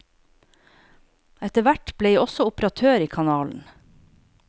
Etterhvert ble jeg også operatør i kanalen.